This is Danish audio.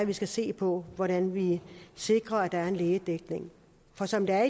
vi skal se på hvordan vi sikrer at der er en lægedækning for som det er